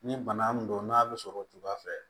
Ni bana min don n'a bɛ sɔrɔ o cogoya fɛ